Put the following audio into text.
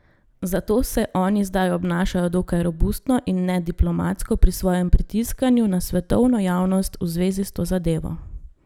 Zato se oni zdaj obnašajo dokaj robustno in nediplomatsko pri svojem pritiskanju na svetovno javnost v zvezi s to zadevo.